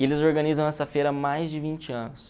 E eles organizam essa feira há mais de vinte anos.